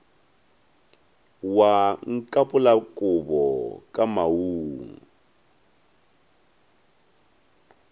wa nkapola kobo ka maoong